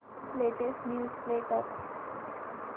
latest news play कर